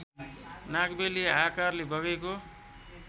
नागबेली आकारले बगेको